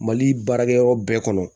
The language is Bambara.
Mali baarakɛyɔrɔ bɛɛ kɔnɔ